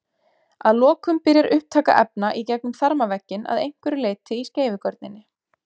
Að lokum byrjar upptaka efna í gegnum þarmavegginn að einhverju leyti í skeifugörninni.